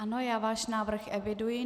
Ano, já váš návrh eviduji.